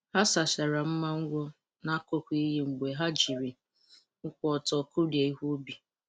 Ha sachara mma ngwọ n’akụkụ iyi mgbe ha jiri ụkwụ ọtọ kụrie ihe ubi.